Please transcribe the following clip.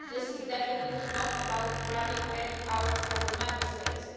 This is definitely not about grabbing any power from the Member States.